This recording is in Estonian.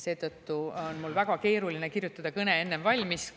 Seetõttu on mul väga keeruline kirjutada kõne enne valmis.